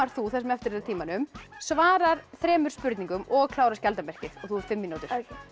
þú það sem eftir er af tímanum svarar þremur spurningum og klárar skjaldarmerkið þú átt fimm mínútur